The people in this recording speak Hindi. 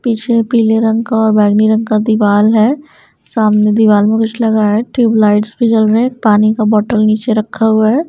पीछे पीले रंग का और बैगनी रंग का दीवाल है सामने दीवाल में कुछ लगा है ट्यूब लाइट्स भी जल रहे हैं पानी का बोतल नीचे रखा हुआ है।